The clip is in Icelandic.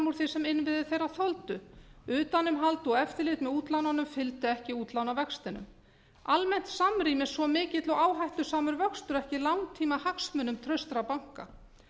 því sem innviðir þeirra þoldu utanumhald og eftirlit með útlánunum fylltu ekki útlánavextinum almennt samrýmist svo mikill og áhættusamur vöxtur ekki langtímahagsmunum traustra banka